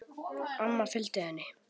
Amma fylgdi henni.